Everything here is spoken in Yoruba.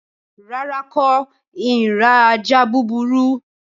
Rárá, n kò ni ra ajá búburú